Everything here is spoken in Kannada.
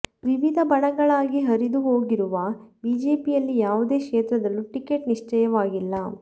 ವಿವಿಧ ಬಣಗಳಾಗಿ ಹರಿದು ಹೋಗಿರುವ ಬಿಜೆಪಿಯಲ್ಲಿ ಯಾವುದೇ ಕ್ಷೇತ್ರದಲ್ಲೂ ಟಿಕೆಟ್ ನಿಶ್ಚಿತವಾಗಿಲ್ಲ